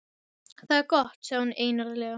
Það er gott sagði hún einarðlega.